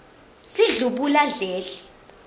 sidlubuladledle